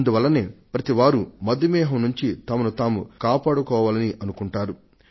అందువల్లనే ప్రతివారు మధుమేహం బారి నుండి కాపాడుకోవాలని అనుకుంటారు